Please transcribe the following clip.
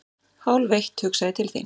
Hálfeitt hugsa ég til þín.